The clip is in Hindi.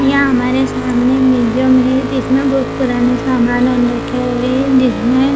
यहाँ हामरे सामने म्यूजियम है जिसमे बहुत सारे पुराने सामान रखे हुए है जिसमें --